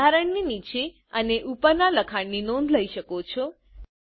તમે બંધારણની નીચે અને ઉપરના લખાણ ની નોંધ લઇ શકો છો